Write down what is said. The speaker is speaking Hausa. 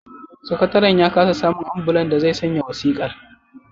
Sakataren ya kasa samun ambulan da zai sanya wasiƙar